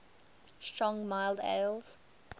strong mild ales